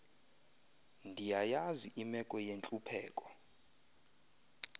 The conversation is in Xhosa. ndiyayazi imeko yentlupheko